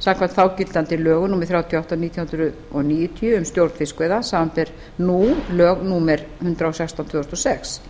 samkvæmt þágildandi lögum númer þrjátíu og átta nítján hundruð níutíu um stjórn fiskveiða samanber nú lög númer hundrað og sextán tvö þúsund og sex